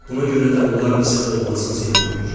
Buna görə də onlar bizə olmazın ziyan vurur.